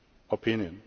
opinion.